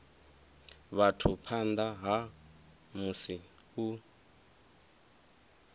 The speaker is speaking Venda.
vhathu phanḓa ha musi u